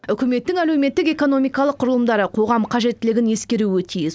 үкіметтің әлеуметтік экономикалық құрылымдары қоғам қажеттілігін ескеруі тиіс